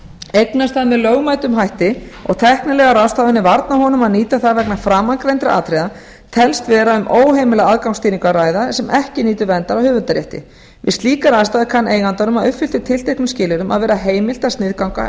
eignast það með lögmætum hætti og tæknilegar ráðstafanir varna honum að nýta það vegna framangreindra atriða telst vera um óheimila aðgangsstýringu að ræða sem ekki nýtur verndar að höfundarétti við slíkar aðstæður kann eigandanum að uppfylltum tilteknum skilyrðum að vera heimilt að sniðganga